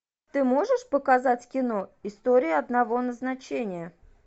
ты можешь показать кино история одного назначения